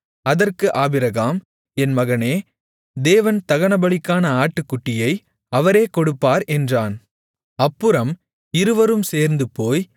அதற்கு ஆபிரகாம் என் மகனே தேவன் தகனபலிக்கான ஆட்டுக்குட்டியை அவரே கொடுப்பார் என்றான் அப்புறம் இருவரும் சேர்ந்துபோய்